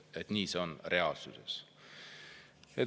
Nii on see reaalsuses.